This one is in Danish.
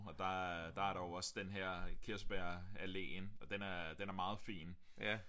Og der øh der er der jo også den her kirsebær alléen og den er den er meget fin